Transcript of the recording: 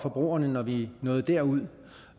forbrugerne når vi nåede derud